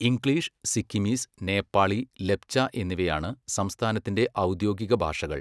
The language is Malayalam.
ഇംഗ്ലീഷ്, സിക്കിമീസ്, നേപ്പാളി, ലെപ്ച എന്നിവയാണ് സംസ്ഥാനത്തിന്റെ ഔദ്യോഗിക ഭാഷകൾ.